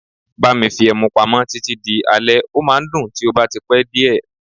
Bá mi fi ẹmu pamọ́ títí di alẹ́, ó máa ń dùn tí ó bá ti pẹ́ díẹ̀.